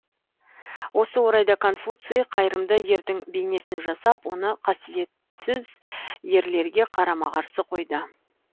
осы орайда конфуций қайырымды ердің бейнесін жасап оны қасиетсіз ерлерге қарама қарсы қойды